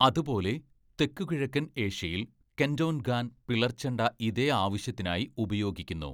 അതുപോലെ തെക്കുകിഴക്കൻ ഏഷ്യയിൽ, കെൻ്റോൻഗാൻ പിളർച്ചെണ്ട ഇതേ ആവശ്യത്തിനായി ഉപയോഗിക്കുന്നു.